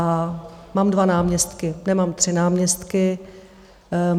A mám dva náměstky, nemám tři náměstky.